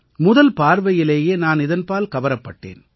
முதல் பார்வையிலேயே நான் இதன்பால் கவரப்பட்டேன்